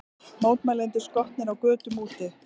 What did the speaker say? Mótmælendur skotnir á götum úti